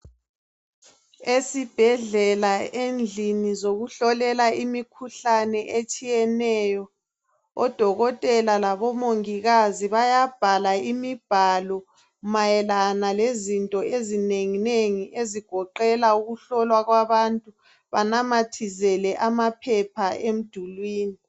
Esibhedlela, endlini zokuhlolela imikhuhlane etshiyeneyo, odokotela labo mongikazi bayabhala imibhalo mayelana lezinto ezinenginengi ezigoqela ukuhlolwa kwabantu banamathisele ama phepha emdulwini